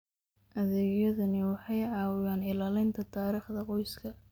Adeegyadani waxay caawiyaan ilaalinta taariikhda qoyska.